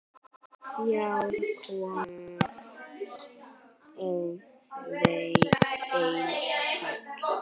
Þrjár konur og einn karl.